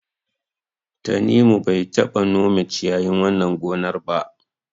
Tanimu bai taɓa nome ciyayin wannan gonar ba.